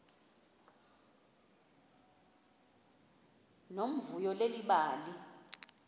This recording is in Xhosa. nomvuyo leli bali